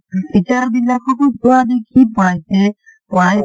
teacher বিলককো পোৱালীক কি পঢ়াইছে